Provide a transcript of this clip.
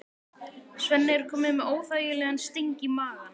Svenni er kominn með óþægilegan sting í magann.